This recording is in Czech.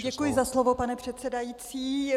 Děkuji za slovo, pane předsedající.